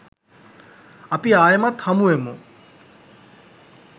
අපි ආයිමත් හමුවෙමු